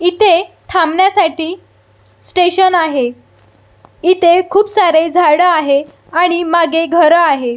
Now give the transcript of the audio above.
इथे थांबण्या साठी स्टेशन आहे इथे खुप सारे झाड आहे आणि मागे घर आहे.